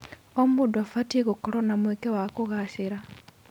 O mũndũ abatiĩ gũkorwo na mweke wa kũgacĩra.